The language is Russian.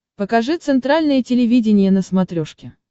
покажи центральное телевидение на смотрешке